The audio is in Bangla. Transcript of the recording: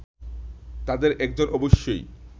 তাঁদের একজন অবশ্যই